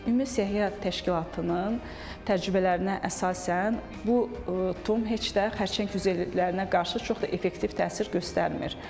Ümumi Səhiyyə təşkilatının təcrübələrinə əsasən, bu tum heç də xərçəng hüceyrələrinə qarşı çox da effektiv təsir göstərmir.